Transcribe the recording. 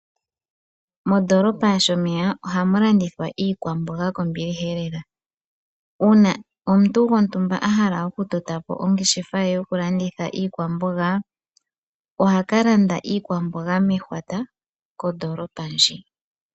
Mondoolopa yaShomeya ohamu landithwa iikwamboga kombiliha lela. Uuna omuntu a hala okutota po ongeshefa ye yokulanditha iikwamboga, oha ka landa iikwamboga mehwata kondoolopa ndjika.